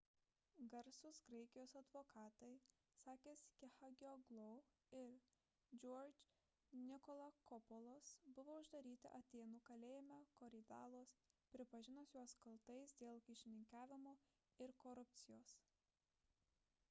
garsūs graikijos advokatai sakis kechagioglou ir george nikolakopoulos buvo uždaryti atėnų kalėjime korydallos pripažinus juos kaltais dėl kyšininkavimo ir korupcijos